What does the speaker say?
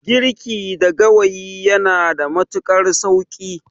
Girki da gawayi yanada matuƙar sauƙi.